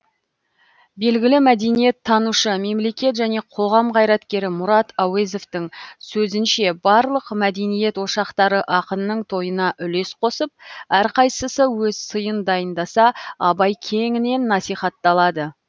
белгілі мәдениеттанушы мемлекет және қоғам қайраткері мұрат әуезовтың сөзінше барлық мәдениет ошақтары ақынның тойына үлес қосып әрқайсысы өз сыйын дайындаса абай кеңінен насихатталады